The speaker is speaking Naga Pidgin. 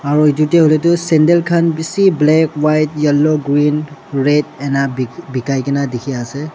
aru etu tu sandal khan bishi black white yellow green red ena bi bikai ke na dikhi ase.